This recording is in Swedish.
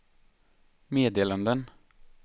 meddelanden